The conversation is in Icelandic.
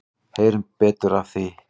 Heyrum betur af því.